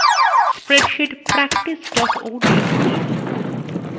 spreadsheet practice ods খুলুন